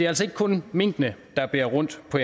altså ikke kun minkene der bærer rundt på